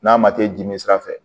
N'a ma kɛ dimi sira fɛ